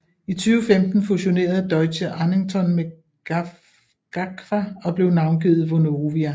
I 2015 fusionerede Deutsche Annington med GAGFAH og blev navngivet Vonovia